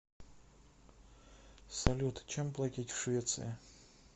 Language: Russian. салют чем платить в швеции